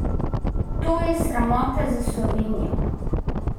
To je sramota za Slovenijo!